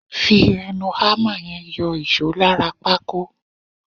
Fi ẹnu hámà yẹn yọ ìṣó lára pákó.